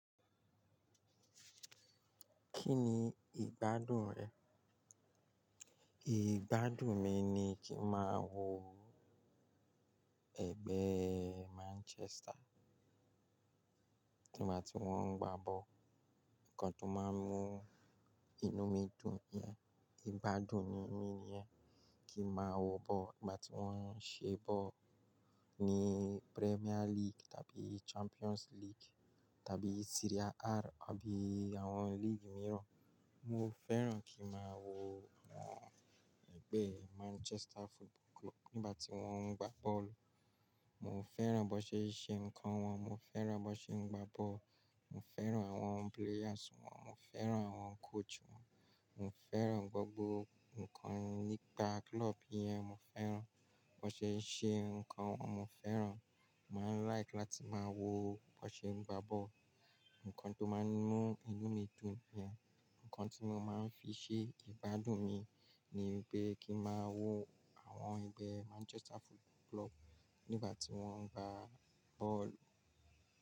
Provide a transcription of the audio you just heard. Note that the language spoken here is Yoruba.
Kí ni ìgbádùn rẹ̀? Ìgbádùn mi ni kí máa wo ẹ̀gbẹ́ Manchester ní ìgbà tí wọ́n ń gbá bọ́ọ̀lù. Nǹkan tó máa ń mú inú mi dùn ni yẹn. Ìgbádùn ni mí nìyẹn. Kí máa wo bọ́ọ̀lù ìgbà tí wọ́n ń ṣe bọ́ọ̀lù ní Premier League tàbí Champions League tàbí Serie A àbí àwọn líìgì mìíràn. Mo fẹ́ràn kí màá wo àwọn ẹgbẹ́ Manchester Football Club nígbà tí wọ́n ń gbá bọ́ọ̀lù. Mo fẹ́ràn bó ṣe ń ṣe ǹkan wọn, mo fẹ́ràn bó ṣe ń gbá ball, mo fẹ́ràn àwọn players wọn, mo fẹ́ràn àwọn coach wọn, mo fẹ́ràn gbogbo ǹkan nípa club yẹn. Mo fẹ́ràn bó ṣe ń ṣe ǹkan wọn, mo fẹ́ràn. Mo ma ń like láti ma wo bọ́n ṣe gbá ball. Ǹkan tó máa ń mú inú mi dùn nìyẹn. Ǹkan tí mo máa ń fi ṣe ìgbádùn mi ni pé kí máa wo àwọn ẹgbẹ́ Manchester Football Club nígbà tí wọ́n ń gbá bọ́ọ̀lù.